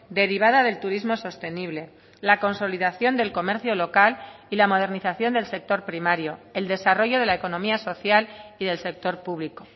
derivada del turismo sostenible la consolidación del comercio local y la modernización del sector primario el desarrollo de la economía social y del sector público